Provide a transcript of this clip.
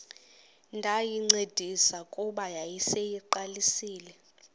ndayincedisa kuba yayiseyiqalisile